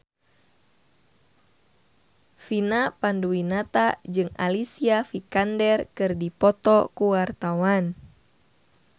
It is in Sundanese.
Vina Panduwinata jeung Alicia Vikander keur dipoto ku wartawan